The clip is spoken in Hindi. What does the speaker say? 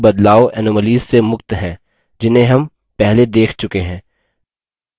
b कोई भी बदलाव anomalies से मुक्त हैं जिन्हें हम पहले देख चुके हैं